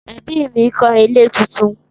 Ẹbí mi ń kọ́ ilé tuntun.